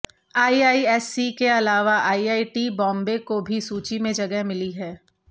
IISc के अलावा IIT Bombay को भी सूची में जगह मिली है